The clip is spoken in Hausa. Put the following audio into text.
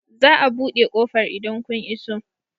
Za a buɗe ƙofar idan kun iso.